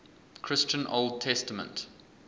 christian old testament